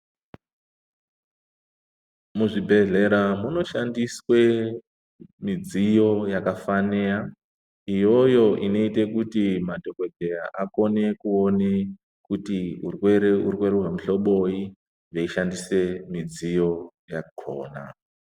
Muzvibhehlera munoshandiswe midziyo yakafaneya iyoyo inoite kuti madhokodheya akone kuona kuti urwere urwere hwemuhloboyi veishandise midziyo yakona.